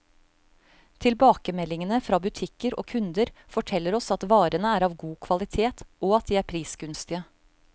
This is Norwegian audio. Tilbakemeldingene fra butikker og kunder, forteller oss at varene er av god kvalitet, og at de er prisgunstige.